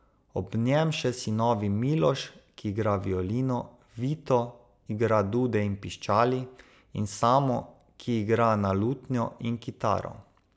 Ob njem še sinovi Miloš, ki igra violino, Vito, igra dude in piščali, in Samo, ki igra na lutnjo in kitaro.